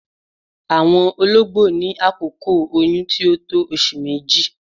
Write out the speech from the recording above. Awọn ọ̀lọ̀gbọ̀ ní àkókò oyún tí o tó ọṣù mẹ́jì.